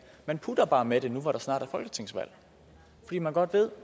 man putter bare med det nu hvor der snart er folketingsvalg fordi man godt ved